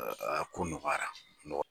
Ko nɔgɔyara